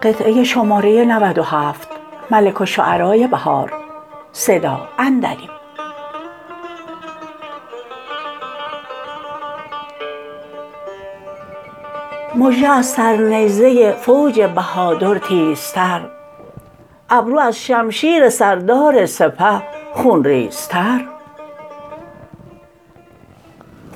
مژه از سر نیزه فوج بهادر تیزتر ابرو از شمشیر سردار سپه خونریزتر